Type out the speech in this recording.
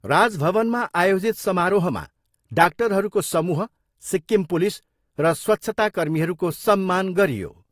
राजभवनमा आयोजित समारोहमा डाक्टरहरूको समूह, सिक्किम पुलिस र स्वच्छताकर्मीहरूको सम्मान गरियो।